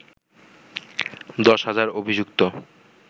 দশ হাজার অভিযুক্ত